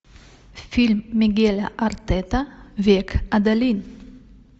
фильм мигеля артета век адалин